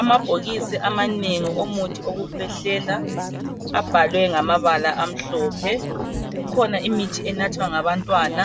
Amabhokisi amanengi omuthi wokukhwehlela abhaliwe ngamabala amhlophe kukhona imithi enathwa ngabantwana